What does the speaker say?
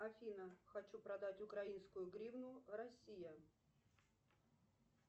афина хочу продать украинскую гривну россия